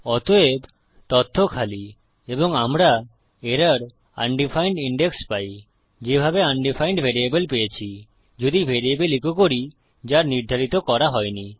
অতএব তথ্য খালি এবং আমরা এরর আনডিফাইন্ড ইনডেক্স পাই যেভাবে আনডিফাইন্ড ভেরিয়েবল পেয়েছি যদি ভ্যারিয়েবল ইকো করি যা নির্ধারিত করা হয়নি